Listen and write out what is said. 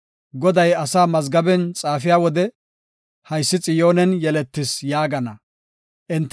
Goday asaa mazgaben xaafiya wode, “Haysi Xiyoonen yeletis” yaagana. Salaha